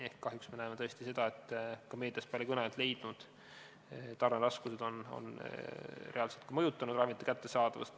Ehk kahjuks me näeme tõesti seda, et ka meedias palju kõneainet leidnud tarneraskused on reaalselt mõjutanud ravimite kättesaadavust.